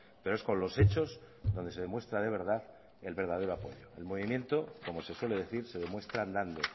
pero es con los hechos donde se demuestra de verdad el verdadero apoyo el movimiento como se suele decir se demuestra andando